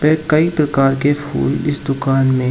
एक कई प्रकार के फूल इस दुकान में --